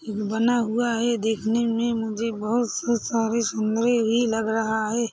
बना हुआ हैं देखने में मुझे बहुत स-स सारे सुंदरे ही लग रहा हैं।